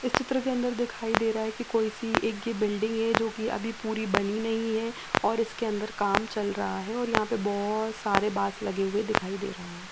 इस चित्र के अंदर दिखाई दे रहा है कोई सी एक बिल्डिंग है जो की अभी पूरी बनी नही है और इसके अंदर काम चल रहा है और यह बोहोत सारे बास लगे हुए दिखाई दे रहे है।